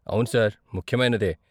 అవును సార్, ముఖ్యమైనదే.